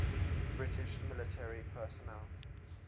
british military personnel